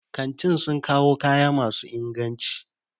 Kantin sun kawo kaya masu inganci.